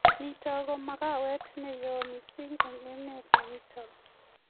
nitok ko magawet ne yoo mising eng emet nitok